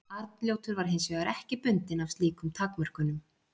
arnljótur var hins vegar ekki bundinn af slíkum takmörkunum